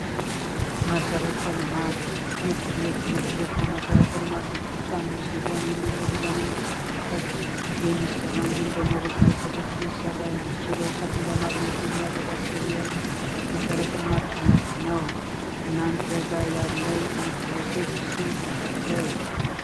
መሰረተ ልማት ትምህርት ቤት ትምህርት ቤት ከመሰረተ ልማቶች አንዱ ሲሆን የመንገድ በመንግስት የሚሠራ፤ እንዲሁም ደግሞ በግለሰቦች ለማግኘት የሚያገለግል መሰረተ ልማት አይነት ነው። እናንተ ጋር ያለን ትምህርት ቤቶች ስንት ናቸው?